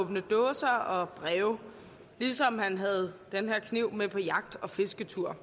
åbne dåser og breve ligesom han havde den her kniv med på jagt og fisketur